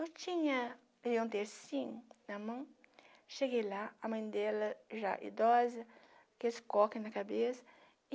Eu tinha um tercinho na mão, cheguei lá, a mãe dela já idosa, com esse coque na cabeça.